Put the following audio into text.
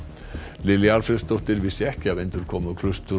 Lilja Alfreðsdóttir vissi ekki af endurkomu